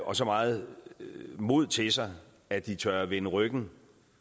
og så meget mod til sig at de tør vende ryggen